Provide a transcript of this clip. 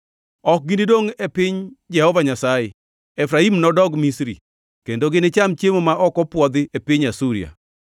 Ok ginidongʼ e piny Jehova Nyasaye; Efraim nodog Misri, kendo ginicham chiemo ma ok opwodhi e piny Asuria.